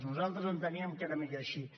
nosaltres enteníem que era millor així